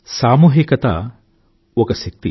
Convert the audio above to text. సామూహికత ఒక శక్తి